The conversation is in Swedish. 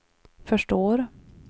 förstår